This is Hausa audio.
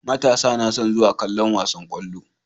Matasa nason zuwa kallon wasan kwallo